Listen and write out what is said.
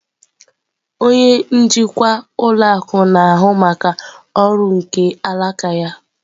Onye njikwa ụlọ akụ na-ahụ maka ọrụ nke alaka ya.